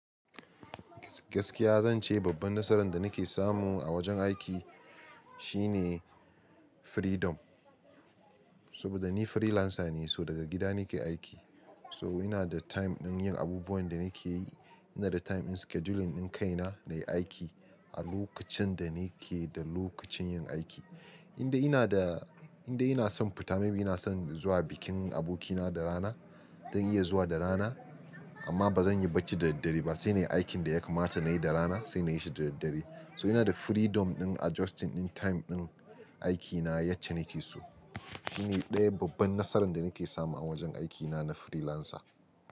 Gaskiya zan ce babban nasaran da nake samu a wajen aiki shine freedom. Saboda ni freelancer ne, so daga gida nake aiki. So ina da time din yin abubuwan da nake yi. Ina da time in scheduling ɗin kaina nayi aiki a lokacin da nake da lokacin yin aiki. Indai ina da, indai ina son fita, maybe ina son zuwa bikin abokina da rana, zan iya zuwa da rana. Amma ba zan yi bacci da daddare ba, sai nayi aikin da ya kamata na yi da rana sai na yi shi da daddare. So ina da freedom ɗin adjusting ɗin time ɗin aikina yace nake so. Shine ɗaya babban nasaran da nake samu a wajen aikina na freelancer.